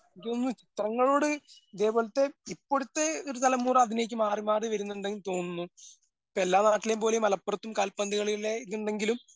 ചിത്രങ്ങളോട് ഇതേപോലത്തെ ഇപ്പൊഴത്തെ ഒരു തലമുറ അഭിനയിച്ച് മാറിമാറി വരുന്നുണ്ടെന്ന് തോന്നുന്നു. ഇപ്പ എല്ലാ നാട്ടിലെയും പോലെ മലപ്പുറത്തും കാൽപ്പന്തുകളിയിലെ ഇതൊണ്ടെങ്കിലും